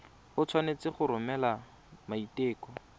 o tshwanetse go romela maiteko